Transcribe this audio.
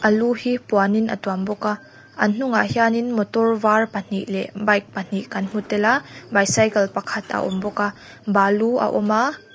lu hi puanin a tuam bawk a a hnungah hianin motor var pahnih leh bike pahnih kan hmutel a bicycle pakhat a awmbawk a balu a awm a--